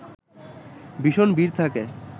ভীষণ ভিড় থাকে